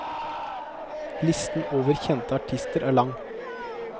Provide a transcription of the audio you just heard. Listen over kjente artister er lang.